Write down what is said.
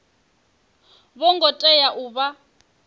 vho ngo tea u vha